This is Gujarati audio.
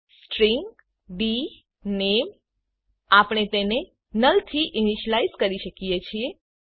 સ્ટ્રીંગ ડીનેમ આપણે તેને નુલ થી ઇનીસીલાઈઝ કરી શકીએ છીએ